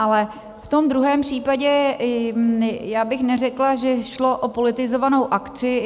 Ale v tom druhém případě já bych neřekla, že šlo o politizovanou akci.